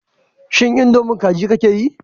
Shin indomie kaji kake yi?